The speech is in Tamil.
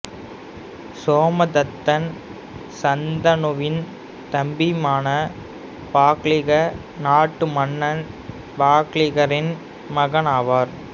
சோமதத்தன் சந்தனுவின் தம்பியான பாக்லீக நாட்டு மன்னர் பாக்லீகரின் மகன் ஆவார்